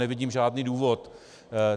Nevidím žádný důvod.